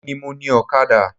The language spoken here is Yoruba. Emi ni mo ni Ọ̀kadà